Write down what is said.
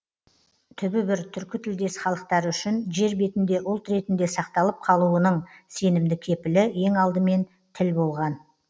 түбі бір түркі тілдес халықтары үшін жер бетінде ұлт ретінде сақталып қалуының сенімді кепілі ең алдымен тіл болған